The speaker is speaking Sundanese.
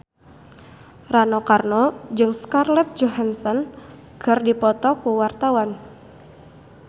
Rano Karno jeung Scarlett Johansson keur dipoto ku wartawan